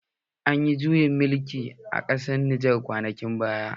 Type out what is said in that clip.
Anyi juyin mulkii a ƙasar Nijar kwanakin baya